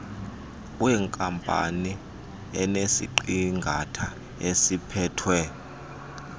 wenkampani enesiqingatha esiphethwe